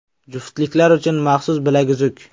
Juftliklar uchun maxsus bilaguzuk.